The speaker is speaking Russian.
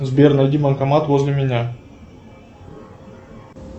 сбер найди банкомат возле меня